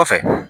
Kɔfɛ